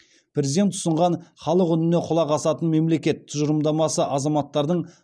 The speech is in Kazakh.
президент ұсынған халық үніне құлақ асатын мемлекет тұжырымдамасы азаматтардың